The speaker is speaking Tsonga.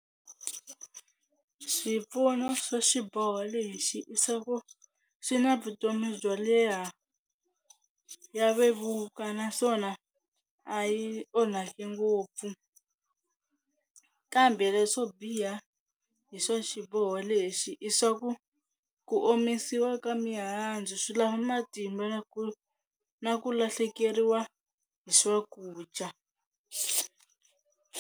Swipfuno swa xiboho lexi i swa ku xi na vutomi byo leha, ya vevuka naswona a yi onhaki ngopfu kambe leswo biha hi swa xiboho lexi i swa ku ku omisiwa ka mihandzu swi lava matimba na ku na ku lahlekeriwa hi swakudya.